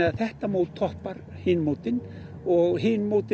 þetta mót toppar hin mótin og hin mótin